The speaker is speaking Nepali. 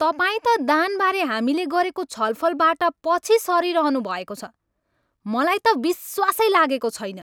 तपाईँ त दानबारे हामीले गरेको छलफलबाट पछि सरिरहनुभएको छ। मलाई त विश्वासै लागेको छैन।